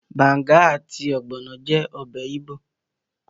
Banga àti ogbono jẹ́ ọbẹ̀ igbo.